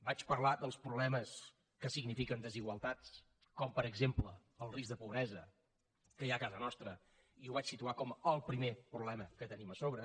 vaig parlar dels problemes que signifiquen desigualtats com per exemple el risc de pobresa que hi ha a casa nostra i ho vaig situar com el primer problema que tenim a sobre